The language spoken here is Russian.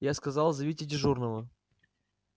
я сказал зовите дежурного